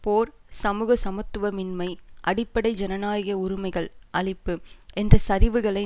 போர் சமூக சமத்துவமின்மை அடிப்படை ஜனநாயக உரிமைகள் அழிப்பு என்ற சரிவுகளை